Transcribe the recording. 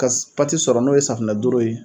Ka pati sɔrɔ n'o ye safunɛ dooro ye.